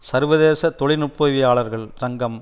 சர்வதேச தொழில்நுட்பவியலாளர்கள் சங்கம்